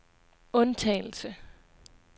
undtagelse